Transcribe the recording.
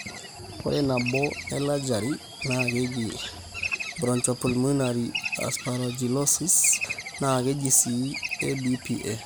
ore naboo ellegeri na keji bronchopulmnary aspergillosis(na kejii c ABPA)